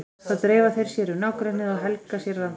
Þá dreifa þeir sér um nágrennið og helga sér landsvæði.